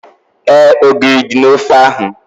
Éè, ogiri dị n'ofe ahu